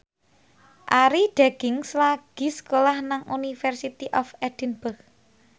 Arie Daginks lagi sekolah nang University of Edinburgh